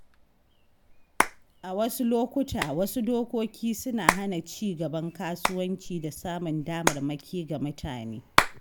A wasu lokuta, wasu dokoki suna hana ci gaban kasuwanci da samun damarmaki ga mutane.